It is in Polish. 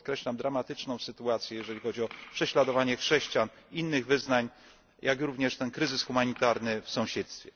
Tu podkreślam dramatyczną sytuację, jeżeli chodzi o prześladowanie chrześcijan, innych wyznań, jak również ten kryzys humanitarny w sąsiedztwie.